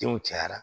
Denw cayara